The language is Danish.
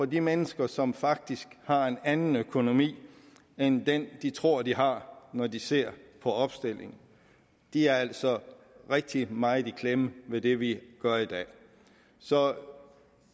de mennesker som faktisk har en anden økonomi end den de tror de har når de ser på opstillingen er altså rigtig meget i klemme ved det vi gør i dag så